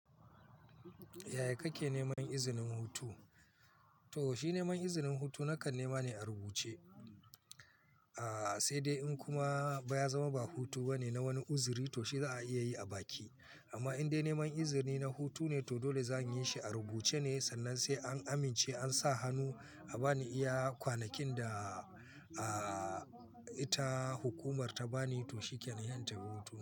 Yaya kake neman izinin hutu? To shi neman izinin hutu nakan nema ne a rubuce. Aaa sai dai in kuma ba ya zama ba hutu ba ne na wani uzuri to shi za a iya yi a baki. Amma in dai neman izini na hutu ne to dole zan yi shi a rubuce ne. Sannan sai an amince an sa hannu a ba ni iya kwanakin da aa ita hukumar ta ba ni to shi ke intafi hutu.